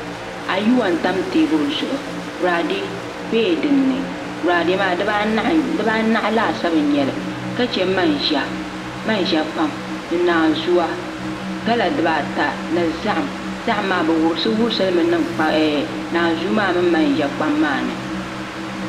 Ayuwa n tam teebuli zuɣu boraadɛ bɛla dinni boraadɛ maa dibaanahi laasabu n nyɛli ka chɛ manʒa kpam ni naanzuwa gala dibaata ni zaham zaham maa bi wurisi wurisi limi niŋ naanzuu maa mini manʒa kpam maa ni